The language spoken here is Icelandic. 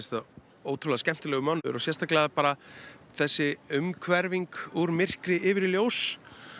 ótrúlega skemmtilegur mánuður og sérstaklega bara þessi úr myrkri yfir í ljós